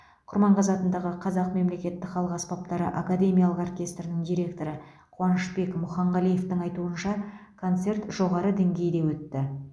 құрманғазы атындағы қазақ мемлекеттік халық аспаптары академиялық оркестрінің директоры қуанышбек мұханғалиевтің айтуынша концерт жоғары деңгейде өтті